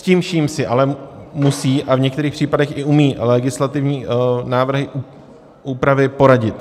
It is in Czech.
S tím vším si ale musí, a v některých případech i umí, legislativní návrhy úpravy poradit.